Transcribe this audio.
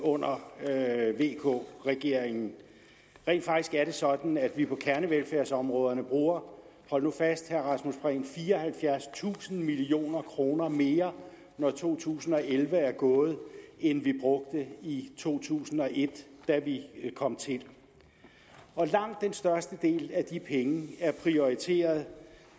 under vk regeringen rent faktisk er det sådan at vi på gerne velfærdsområderne bruger hold nu fast og fireoghalvfjerdstusind million kroner mere når to tusind og elleve er gået end vi brugte i to tusind og et da vi kom til langt den største del af de penge er prioriteret